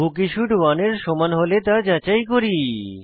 বুকিশুড 1 এর সমান হলে তা যাচাই করি